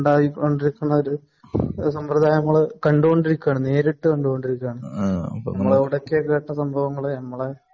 അതായിക്കൊണ്ടിരിക്കുന്ന സമ്പ്രദായങ്ങൾ നേരിട്ട് കണ്ടുകൊണ്ടിരിക്കയാണ്. നമ്മളെ ഇവിടെയൊക്കെ ഇങ്ങനത്തെ സംഭവങ്ങൾ